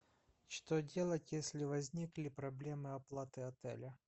что делать если возникли проблемы оплаты отеля